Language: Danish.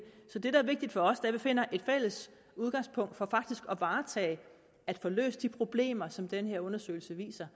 så det der er vigtigt for os er at vi finder et fælles udgangspunkt for faktisk at varetage at få løst de problemer som den her undersøgelse viser